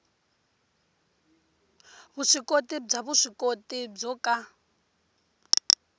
vuswikoti bya vuswikoti byo ka